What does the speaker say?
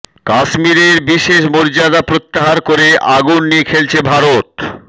কাশ্মীরের বিশেষ মর্যাদা প্রত্যাহার করে আগুন নিয়ে খেলছে ভারত